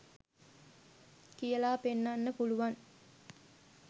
කියලා පෙන්නන්න පුළුවන්